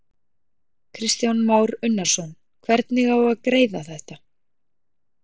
Kristján Már Unnarsson: Hvernig á að greiða þetta?